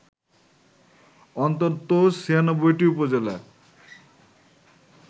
অন্তত ৯৬টি উপজেলার